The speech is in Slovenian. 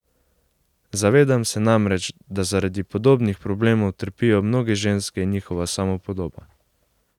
Zavedam se namreč, da zaradi podobnih problemov trpijo mnoge ženske in njihova samopodoba.